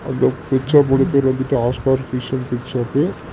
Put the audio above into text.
இந்த பிச்சர் மூணு பேர் வந்துட்டு Oscar fish and pet shop .